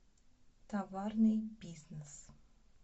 товарный бизнес